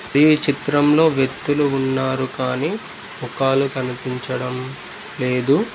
ఈ చిత్రంలో వ్యక్తులు ఉన్నారు కానీ కాలు కనిపించడం లేదు